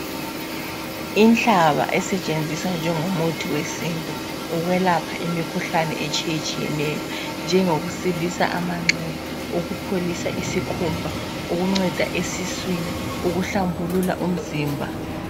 Inhlaba esetshenziswa njengomuthi wesintu ukwelapha imikhuhlane etshiyetshiyeneyo njengokusilisa amanxeba, ukupholisa isikhumba ukunceda esiswini ukuhlambulula umzimba.